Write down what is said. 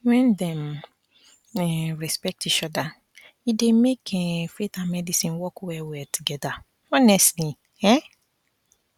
when dem um respect each other e dey make um faith and medicine work well well together honestly um